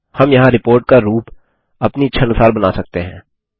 हम यहाँ रिपोर्ट का रूप अपनी इच्छानुसार बना सकते हैं